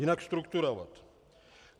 Jinak strukturovat.